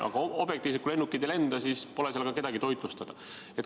Aga objektiivselt võttes, kui lennukid ei lenda, siis pole seal ka kedagi toitlustada.